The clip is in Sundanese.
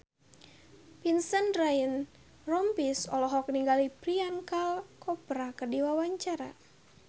Vincent Ryan Rompies olohok ningali Priyanka Chopra keur diwawancara